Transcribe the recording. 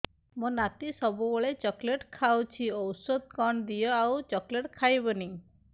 ମୋ ନାତି ସବୁବେଳେ ଚକଲେଟ ଖାଉଛି ଔଷଧ କଣ ଦିଅ ଆଉ ଚକଲେଟ ଖାଇବନି